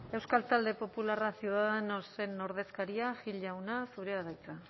euskal talde popularra ciudadanosen ordezkaria gil jauna zurea da hitza